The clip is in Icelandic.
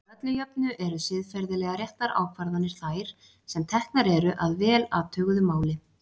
Að öllu jöfnu eru siðferðilega réttar ákvarðanir þær sem teknar eru að vel athuguðu máli.